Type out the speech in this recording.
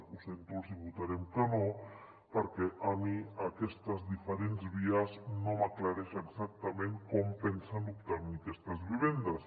ho sento els hi votarem que no perquè a mi aquestes diferents vies no m’aclareixen exactament com pensen obtenir aquestes vivendes